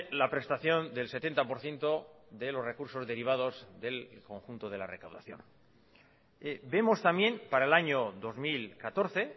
la prestación del setenta por ciento de los recursos derivados del conjunto de la recaudación vemos también para el año dos mil catorce